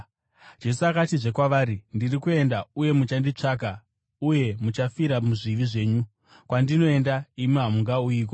Jesu akatizve kwavari, “Ndiri kuenda, uye imi muchanditsvaka, uye muchafira muzvivi zvenyu. Kwandinoenda, imi hamungauyiko.”